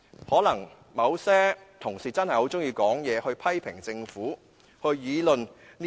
可能某些同事真的很喜歡說話、批評政府及議論時政。